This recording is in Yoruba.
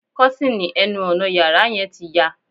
Kọ́tìnì ẹnu ọnà yàrá yẹn ti ya